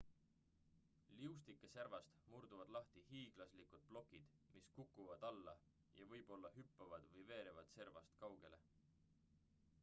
liustike servast murduvad lahti hiiglaslikud plokid mis kukuvad alla ja võib-olla hüppavad või veerevad servast kaugele